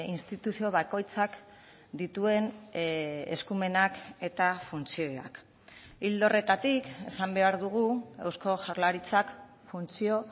instituzio bakoitzak dituen eskumenak eta funtzioak ildo horretatik esan behar dugu eusko jaurlaritzak funtzio